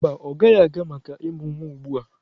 Mba, ọ gaghị aga maka ịmụ nwa ugbu a.